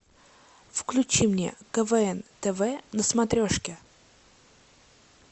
включи мне квн тв на смотрешке